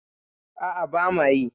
A'a bama yi.